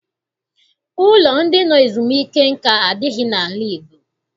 Ụlọ ndị nọ ezumike nka adịghị n'ala Igbo.